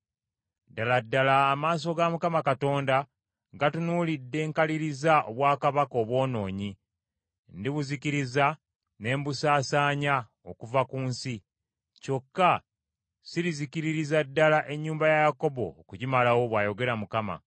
“Ddala ddala amaaso ga Mukama Katonda, gatunuulidde nkaliriza obwakabaka obwonoonyi. Ndibuzikiriza ne mbusaasaanya okuva ku nsi. Kyokka sirizikiririza ddala ennyumba ya Yakobo okugimalawo,” bw’ayogera Mukama .